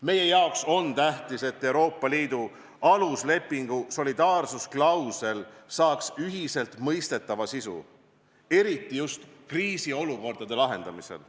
Meie jaoks on tähtis, et Euroopa Liidu aluslepingu solidaarsusklausel saaks ühiselt mõistetava sisu, eriti just kriisiolukordade lahendamisel.